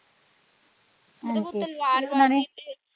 ਹਾਂਜੀ ਓਹਨਾ ਨੇ ਓਹਦੇ ਕੋਲੋਂ ਤਲਵਾਰ ਤੇ।